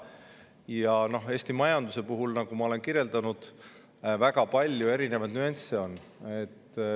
Ja Eesti majanduse puhul, nagu ma olen kirjeldanud, on väga palju erinevaid nüansse.